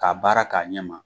K'a baara k'a ɲɛ ma